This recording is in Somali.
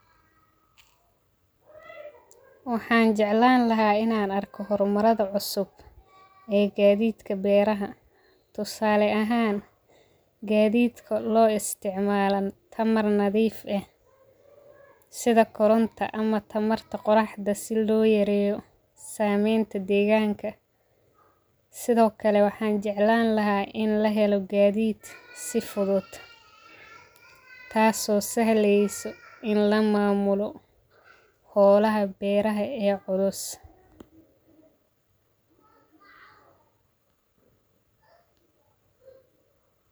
Waxan jeclani lahay in an arko hormaradha cusub ee gadidka beeraha tusale ahan gadidka lo isticmalo tamar nadhif eh sitha koronta ama tamarta quraxda si loyareyo ama samenta deganka sithokale waxan jeclan lahay in lahelo gadid si fudud taso sahleyso in lamamulo holaha beeraha ee culus.